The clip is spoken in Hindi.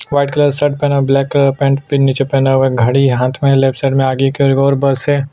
व्हाइट कलर शर्ट पहना ब्लैक पैंट नीचे पहना हुआ घड़ी हाथ में लेफ्ट साइड में आगे की ओर एक और बस है।